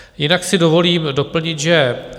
Jinak si dovolím doplnit, že